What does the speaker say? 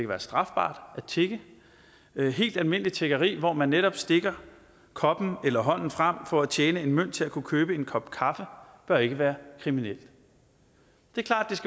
være strafbart at tigge helt almindeligt tiggeri hvor man netop stikker koppen eller hånden frem for at tjene en mønt til at kunne købe en kop kaffe bør ikke være kriminelt det er klart